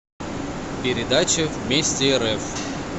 передача вместе рф